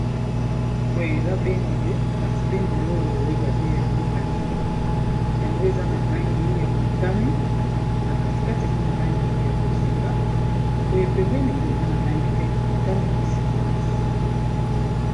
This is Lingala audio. Boye eza bendele, kasi bendele oyeba te ya mboka nini. Yango, eza na langi ya motane. Na katikati, eza na langi ya bozinga. Boye pembeni boye, eza na langi pe ya motane kasi makasi.